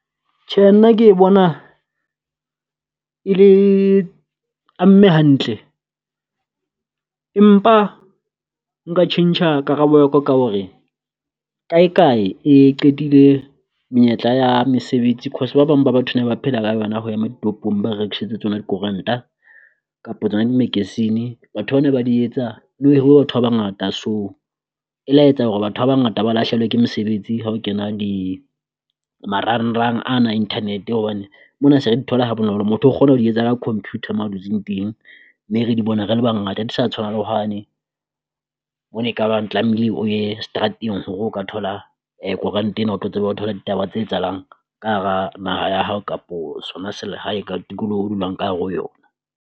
Tje nna ke e bona e le amme hantle, empa nka tjhentjha karabo ya ko ka hore kae kae e qetile menyetla ya mesebetsi cause ba bang ba batho ba phela ka yona ho ema ditopong ba rekisetse tsona dikoranta kapo tsona di magazine-e. Batho ba na ba di etsa ne ho hiruwe batho ba bangata so e la etsa hore batho ba bangata ba lahlehelwa ke mesebetsi ha o kena di marangrang ana Internet, hobane mona se re di thole ha bonolo motho o kgona ho di etsa ka computer mo dutseng teng, mme re di bona re le bangata. Ha di sa tshwana le ho hane bo ne ka bang tlamehile o ye seterateng hore o ka thola koranta ena o tlo tsebe ho thola ditaba tse etsahalang ka hara naha ya hao kapo sona selehae ka tikoloho o dulang ka hare ho yona.